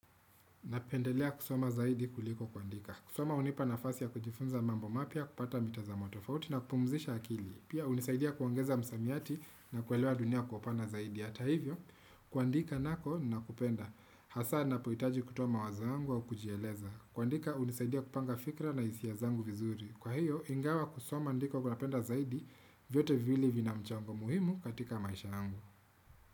Napendelea kusoma zaidi kuliko kuandika. Kusoma unipa nafasi ya kujifunza mambo mapya kupata mitazamo tofauti na kupumzisha akili. Pia unisaidia kuongeza msamiati na kuwelewa dunia kwa upana zaidi. Hata hivyo, kuandika nako ninakupenda hasa ninapohitaji kutoa mawazo zangu wa kujieleza. Kuandika unisaidia kupanga fikra na hisia zangu vizuri. Kwa hiyo, ingawa kusoma ndiko kwa napenda zaidi vyote vili vina mchango muhimu katika maisha angu.